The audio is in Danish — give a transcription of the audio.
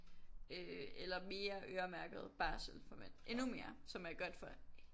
Øh eller mere øremærket barsel for mænd endnu mere som er godt for